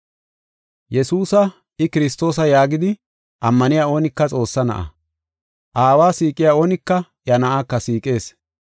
Yesuusa, I Kiristoosa yaagidi, ammaniya oonika Xoossaa na7a. Aawa siiqiya oonika iya Na7aaka siiqees.